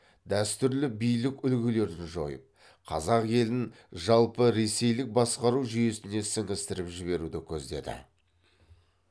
дәстүрлі билік үлгілерді жойып қазақ елін жалпы ресейлік басқару жүйесіне сіңістіріп жіберуді көздеді